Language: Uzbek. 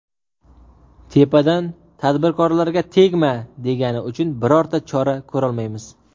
Tepadan ‘tadbirkorlarga tegma’ degani uchun birorta chora ko‘rolmaymiz.